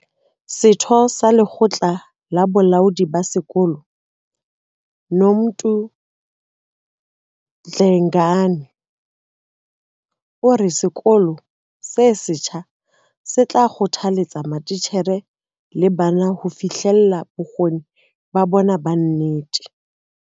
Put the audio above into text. Setho sa lekgotla la bolaodi ba sekolo, Nomuntu Dlengane, o re sekolo se setjha se tla kgothaletsa matitjhere le bana ho fihlella bokgoni ba bona ba nnete.